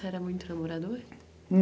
Você era muito namorador?